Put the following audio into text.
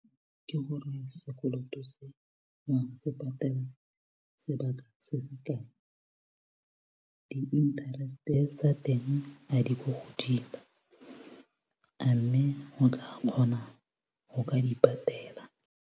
Ke gore sekoloto se wa go se patele sebaka se se kae di-interest-e tsa teng a di ko godimo a mme go tla kgona go ka di patela.